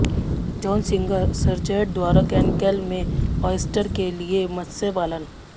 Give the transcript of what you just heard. John Singer Sargent द्वारा Cancale में oyster के लिए मत्स्य पालन